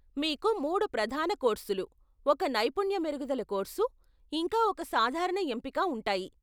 మీకు మూడు ప్రధాన కోర్సులు, ఒక నైపుణ్య మెరుగుదల కోర్సు, ఇంకా ఒక సాధారణ ఎంపిక ఉంటాయి.